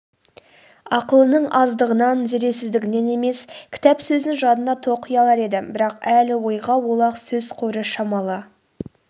ақылының аздығынан зердесіздігінен емес кітап сөзін жадына тоқи алар еді бірақ әлі ойға олақ сөз қоры шамалы